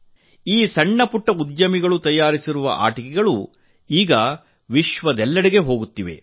ಈ ಸಣ್ಣ ಪುಟ್ಟ ಉದ್ಯಮಿಗಳು ತಯಾರಿಸಿರುವ ಆಟಿಕೆಗಳು ಈಗ ಜಗತ್ತಿನೆಲ್ಲೆಡೆಗೆ ಹೋಗುತ್ತಿವೆ